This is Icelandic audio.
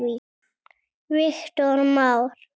Viktor Már.